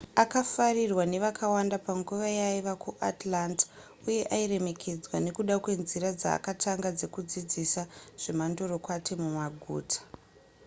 akafarirwa nevakawanda panguva yaaiva kuatlanta uye airemekedzwa nekuda kwenzira dzaakatanga dzekudzidzisa zvemandorokwati mumaguta